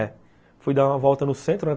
É. Fui dar uma volta no centro, né?